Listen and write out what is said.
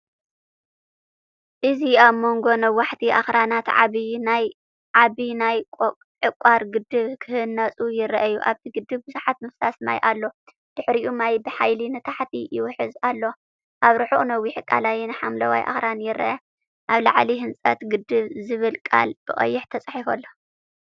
እዚ ኣብ መንጎ ነዋሕቲ ኣኽራናት ዓቢ ናይ ዕቋር ግድብ ክህነጽ ይረአ። ኣብቲ ግድብ ብዙሕ ምፍሳስ ማይ ኣሎ፡ድሕሪኡ ማይ ብሓይሊ ንታሕቲ ይውሕዝ ኣሎ። ኣብ ርሑቕ ነዊሕ ቀላይን ሓምላይ ኣኽራንን ይርአ። ኣብ ላዕሊ "ህንጸት ግድብ"ዝብል ቃል ብቀይሕ ተጻሒፉ ኣሎ።